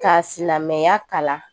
Ka silamɛya kalan